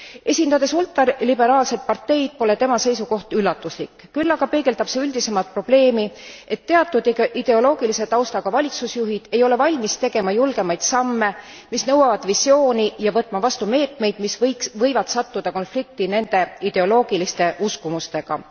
Esindades ultraliberaalset parteid, pole tema seisukoht üllatuslik, küll aga peegeldab see üldisemat probleemi, et teatud ideoloogilise taustaga valitsusjuhid ei ole valmis tegema julgemaid samme, mis nõuavad visiooni, ja võtma vastu meetmeid, mis võivad sattuda konflikti nende ideoloogiliste uskumustega.